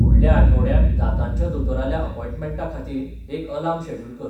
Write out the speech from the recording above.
फुडल्या आठवड्याक दांताच्या दोतोराल्या अपॉइंटमेंटाखातीर एक आलार्म शॅड्युल कर